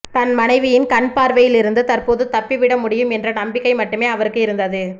தன் மனைவியின் கண் பார்வையிலிருந்து தற்போது தப்பிவிட முடியும் என்ற நம்பிக்கை மட்டுமே அவருக்கு இருந்தது